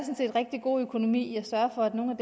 set rigtig god økonomi i at sørge for at nogle af